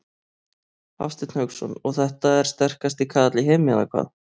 Hafsteinn Hauksson: Og þetta er sterkasti kaðall í heimi eða hvað?